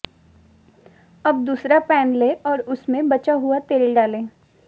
अब दूसरा पैन लें और उसमें बचा हुआ तेल डालें